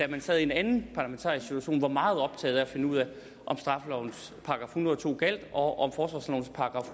man sad i en anden parlamentarisk situation var meget optaget af at finde ud af om straffelovens § en hundrede og to gjaldt og